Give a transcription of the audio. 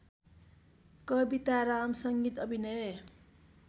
कविताराम संगीत अभिनय